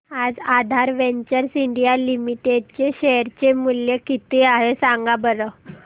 आज Aadhaar ventures India limited चे share चे मूल्य किती आहे सांगा बरं